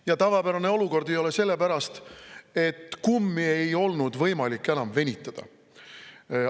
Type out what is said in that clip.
Ja tavapärane olukord ei ole sellepärast, et kummi ei ole võimalik enam venitada.